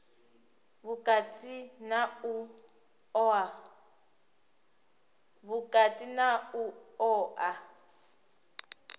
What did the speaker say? u vhukati na u oa